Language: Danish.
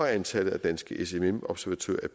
antallet af danske smm observatører